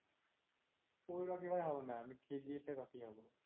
ওই রকি ভাই হবো না, আমি kgf এর রকি হবো।